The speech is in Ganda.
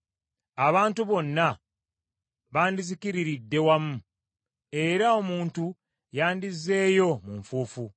abantu bonna bandizikiriridde wamu, era omuntu yandizzeeyo mu nfuufu.